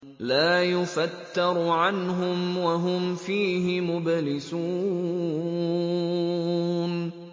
لَا يُفَتَّرُ عَنْهُمْ وَهُمْ فِيهِ مُبْلِسُونَ